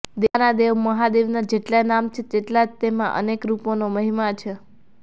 દેવોના દેવ મહાદેવના જેટલાં નામ છે તેટલાંજ તેનાં અનેક રૂપોનો મહિમા છે